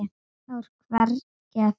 Þá er hvergi að finna.